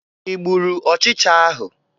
Ị gburu ọchịcha ahụ?